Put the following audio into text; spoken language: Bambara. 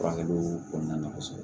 Furakɛliw kɔnɔna na kɔsɛbɛ